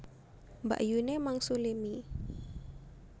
Mbakyune mangsuli mie